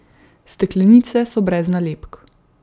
Steklenice so brez nalepk.